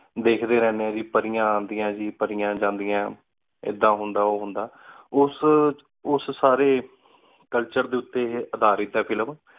ਵੇਖ ਡੀ ਰਹ੍ਦ੍ਯਨ ਪਾਰੇਆਯਨ ਅਨ੍ਦੇਯਨ ਟੀ ਪਾਰੇਉਣ ਜਾਨ੍ਦੇਯਨ ਏਡਾ ਹੁੰਦਾ ਉਹਉਂਦਾ ਉਸ ਸਾਰੀ culture ਡੀ ਊਟੀ ਅਦਾਰਤ ਆਯ film